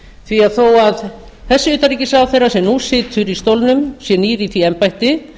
því að þó að þessi utanríkisráðherra sem nú situr í stólnum sé nýr í því embætti